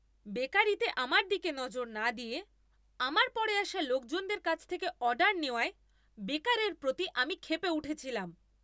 বেকারিতে আমার দিকে নজর না দিয়ে আমার পরে আসা লোকজনদের কাছ থেকে অর্ডার নেওয়ায় বেকারের প্রতি আমি ক্ষেপে উঠেছিলাম।